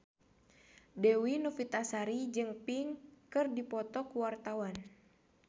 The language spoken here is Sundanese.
Dewi Novitasari jeung Pink keur dipoto ku wartawan